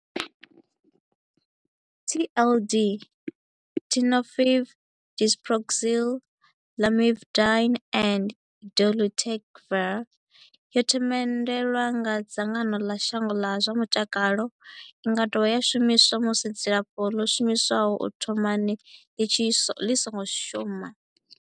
TLD, Tenofovir disoproxil, Lamivudine and dolutegravir, yo themendelwa nga dzangano ḽa shango ḽa zwa mutakalo. I nga dovha ya shumiswa musi dzilafho ḽo shumiswaho u thomani ḽi songo shuma.